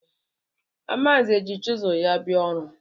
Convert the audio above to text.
Amanze ji chizụl ya bịa ọrụ.